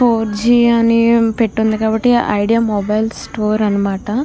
Four G అని పెట్టి ఉంది కాబట్టి ఐడియా మొబైలు స్టోర్ అనమాట.